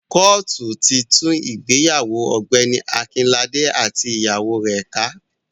Kóòtù ti tú ìgbéyàwó Ọ̀gbẹ́ni Akínlàdé àti ìyàwó rẹ̀ ká.